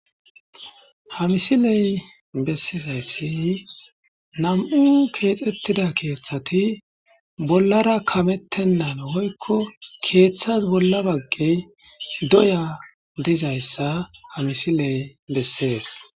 hamisiley bessizayssi nam7u keexettida keeththati bollara kamettennan hoykko keeththas bolla baggey doya dizayssa hamisiley bessees